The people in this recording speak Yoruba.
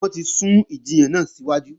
Wọ́n ti sún ìjiyàn náà síwájú